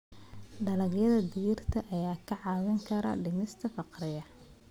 Dalagyada digirta ayaa kaa caawin kara dhimista faqriga.